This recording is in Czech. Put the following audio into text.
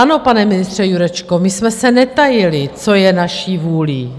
Ano, pane ministře Jurečko, my jsme se netajili, co je naší vůlí.